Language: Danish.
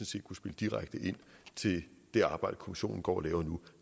set kunne spille direkte ind til det arbejde kommissionen går og laver nu